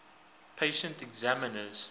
patent examiners